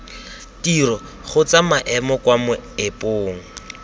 tiro kgotsa maemo kwa moepong